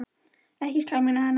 Ekkert skal minna hana á hann.